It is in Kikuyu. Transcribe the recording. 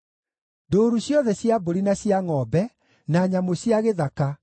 ndũũru ciothe cia mbũri na cia ngʼombe, na nyamũ cia gĩthaka,